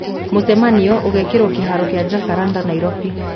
Mũcemanio ũgekĩrwo kĩhaaro kĩa Jacaranda Nairobi